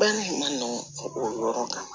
Baara in ma nɔgɔn o yɔrɔ kan